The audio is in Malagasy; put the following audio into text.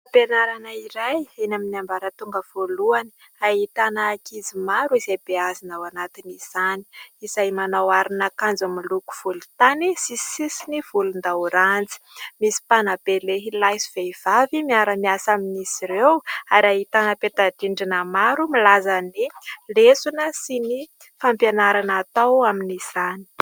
Fampianarana iray eny amin'ny ambaratonga voalohany. Ahitana ankizy maro izay beazina ao anatin'izany, izay manao aron'akanjo miloko volontany sy sisiny volondaoranjy. Misy mpanabe lehilahy sy vehivavy miara-miasa amin'izy ireo, ary ahitana peta-drindrina maro milaza ny lesona sy ny fampianarana atao amin'izany.